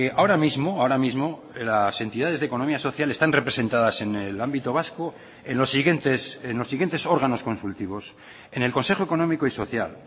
ahora mismo ahora mismo las entidades de economía social están representadas en el ámbito vasco en los siguientes en los siguientes órganos consultivos en el consejo económico y social